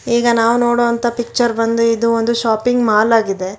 ಈಗ ನಾವು ನೋಡೊ ಅಂತ ಪಿಚ್ಚರ್ ಬಂದು ಇದು ಒಂದು ಶಾಪಿಂಗ್ ಮಾಲ್ ಆಗಿದೆ.